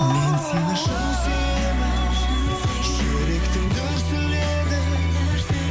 мен сені шын сүйемін жүректің дүрсілі едің